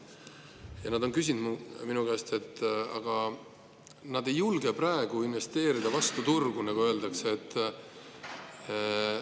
Ja nad on mulle, et nad ei julge praegu vastu turgu investeerida, nagu öeldakse.